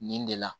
Nin de la